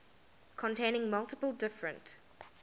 containing multiple different